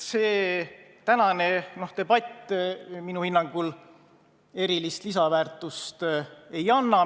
See tänane debatt minu hinnangul erilist lisaväärtust ei anna.